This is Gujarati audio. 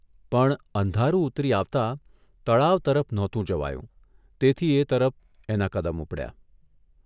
પણ અંધારું ઊતરી આવતા તળાવ તરફ નહોતું જવાયું તેથી એ તરફ એના કદમ ઉપડ્યા.